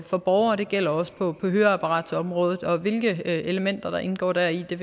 for borgere og det gælder også på høreapparatområdet og hvilke elementer der indgår deri vil